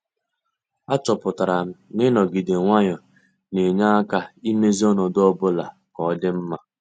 A chọpụtara m na-inogide nwayọọ ne-enye aka imezi ọnọdụ ọbụla ka ọ dị mma.